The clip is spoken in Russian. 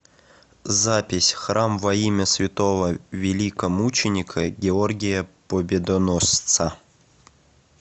запись храм во имя святого великомученика георгия победоносца